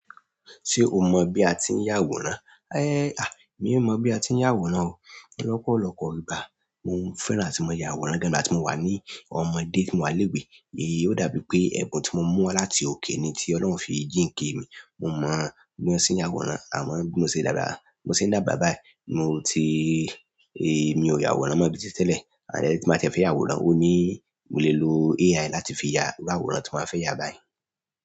Ṣé o mọ bí a ti ń yà àwòrán? É à, mi ò mọ̀ bí a ti ń yá àwòrán o. Lọ́pọ̀lọpọ̀ ìgbà mo ń fẹ́ran a tí máa ya àwòrán gan ngbatí tí mo wà ní ọmọdé tí mo wà ni ilé-ìwé. Ó dàbí pé ẹ̀bùn tí mo mú wá láti òkè ni tí Ọlọ́run fi jíǹki mi. Mo mọ̀ bí wọ́n ṣe ń ya àwòrán àmọ́ bí mo ṣe dàgbà, mo ṣe ń dágba báyìí. Mo ti, ẹ mi ò ya àwòrán mọ̀ bíi tí tẹ́lẹ̀, àn tí mo bá fẹ́ ya àwòrán, ó ní mo lè lo AI láti fi ya iru àwòrán tí mo ba fẹ́ yà báyìí.